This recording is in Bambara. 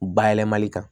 Bayɛlɛmali kan